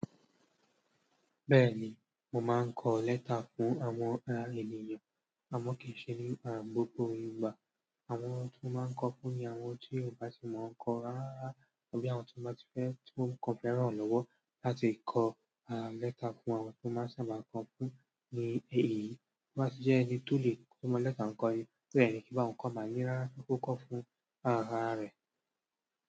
Bẹ́ẹ̀ni, mo máa ń kọ lẹ́tà fún àwọn ará ènìyàn. A mọ̀ kìí ṣe ní àárín gbogbo Yorùbá. Àwọn tó máa ń kọ fún ni àwọn tí Yorùbá tí mọ̀ ọ́n kọ ara, tọ́ bí àwọn tó máa ti fẹ́ tó ń kọ fẹ́ràn lọ́wọ́ láti kọ àà lẹ́tà fún àwọn tó máa sábà kọ fún ní èyí. Kí wọ́n sì jẹ́ ẹni tó lè kọ́mọ lẹ́tà ń kọ èyí, pé ẹni kí wọ́n kọ máa yíyára kó kọ fún ará rẹ̀.